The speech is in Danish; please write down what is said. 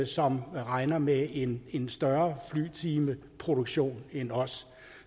som regner med en en større flyvetimeproduktion end os